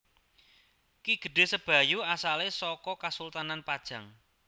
Ki Gedhé Sebayu asalé saka Kasultanan Pajang